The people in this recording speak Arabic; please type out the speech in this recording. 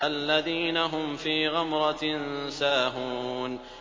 الَّذِينَ هُمْ فِي غَمْرَةٍ سَاهُونَ